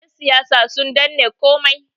yansiyasa sun danne komai